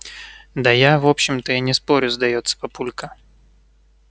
да я в общем-то и не спорю сдаётся папулька